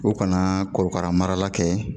U kana korokara mara kɛ